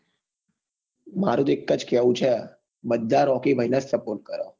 મારું તો એક જ કેવું છે બધા રોકી ભાઈ ને જ support કરો